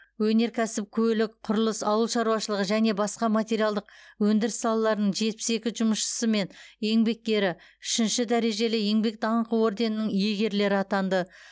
өнеркәсіп көлік құрылыс ауыл шаруашылығы және басқа материалдық өндіріс салаларының жетпіс екі жұмысшысы мен еңбеккері үшінші дәрежелі еңбек даңқы орденінің иегерлері атанды